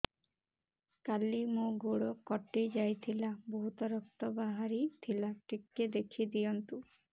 କାଲି ମୋ ଗୋଡ଼ କଟି ଯାଇଥିଲା ବହୁତ ରକ୍ତ ବାହାରି ଥିଲା ଟିକେ ଦେଖି ଦିଅନ୍ତୁ